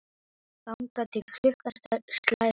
Þangað til klukkan slær tólf.